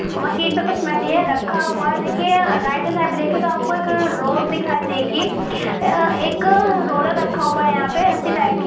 machine कुछ material रखा हुआ है देखिए यहाँ राइट साइड पे देखिए तो आपको एक रोड दिखाई देगी एक रोलर रखा हुआ है यहाँ पे रस्सी टाइप की--